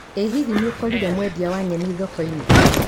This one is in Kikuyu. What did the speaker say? ĩ hihi nĩũkorire mwendia wa nyeni thokoinĩ?